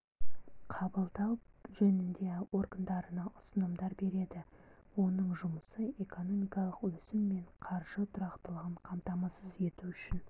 қабылдау жөнінде органдарына ұсынымдар береді оның жұмысы экономикалық өсім мен қаржы тұрақтылығын қамтамасыз ету үшін